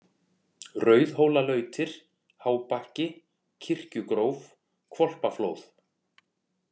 Rauðhólalautir, Hábakki, Kirkjugróf, Hvolpaflóð